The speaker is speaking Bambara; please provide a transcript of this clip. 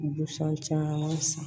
Busan caman san